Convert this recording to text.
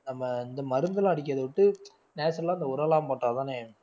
நம்ம இந்த மருந்தெல்லாம் அடிக்கிறதை விட்டு natural ஆ இந்த உரம் எல்லாம் போட்டாதானே